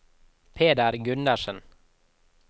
Peder Gundersen